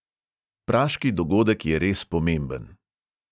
Praški dogodek je res pomemben.